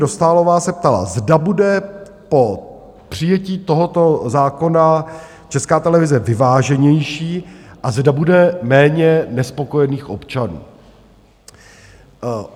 Dostálová se ptala, zda bude po přijetí tohoto zákona Česká televize vyváženější a zda bude méně nespokojených občanů.